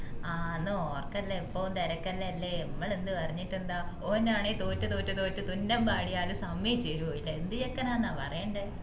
ആന്നു ഓന്ക്ക് എപ്പോം തിരക്കെല്ലു അല്ലെ മ്മള് എന്ത് പറഞ്ഞിട്ടെന്താ ഓൻ ആണേ തോറ്റ് തോറ്റ് തോറ്റ് തുന്നം പാടിയാലും സമ്മയിച് തേരൊ ഇല്ല എന്ത് ചെക്കനാ ന്ന പറയണ്ടേ